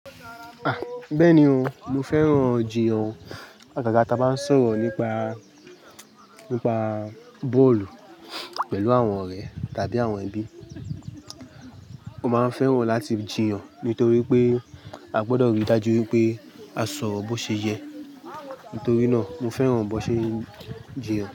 Ah! Bẹ́ẹ̀ni o, mo fẹ́ràn jiyan àgàgà tá bá ń sọ̀rọ̀ nípa, nípa bọ́ọ̀lù pẹ̀lú àwọn ọ̀rẹ́ tàbí àwọn ẹbí. Mo máa ń fẹ́ràn láti jiyan nítorí pé a gbọdọ̀ rí i dájú wípé a sọrò bó ṣe yẹ. Nítorí náà mo fẹ́ràn bó ṣe ń jiyan.